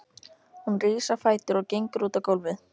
Hún rís á fætur og gengur út á gólfið.